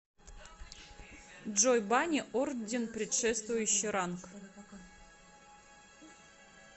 джой бани орден предшествующий ранг